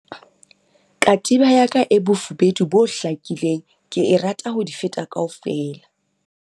katiba ya ka e bofubedu bo hlakileng ke e rata ho di feta kaofela